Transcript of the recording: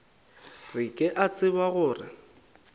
re ke a tseba gore